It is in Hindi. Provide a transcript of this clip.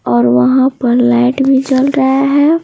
और वहाँ पर लाइट भी चल रहा है।